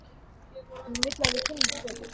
Hún vill að við kynnumst betur.